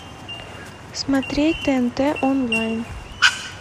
смотреть тнт онлайн